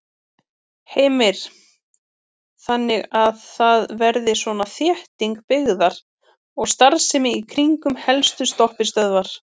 Heimir: Þannig að það verði svona þétting byggðar og starfsemi í kringum helstu stoppistöðvar?